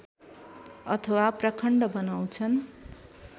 अथवा प्रखण्ड बनाउँछन्